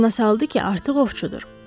O yadına saldı ki, artıq ovçudur.